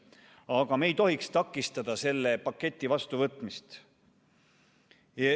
Aga me ei tohiks takistada selle paketi vastuvõtmist.